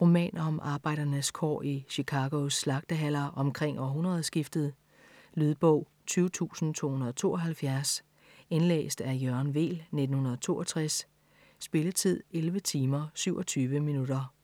Roman om arbejdernes kår i Chicagos slagtehaller omkring århundredskiftet. Lydbog 20272 Indlæst af Jørgen Weel, 1962. Spilletid: 11 timer, 27 minutter.